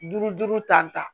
Duuru duuru ta